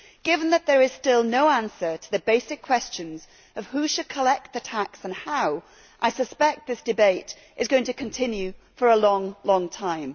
Given that there is still no answer to the basic questions of who should collect the tax and how, I suspect this debate is going to continue for a long time.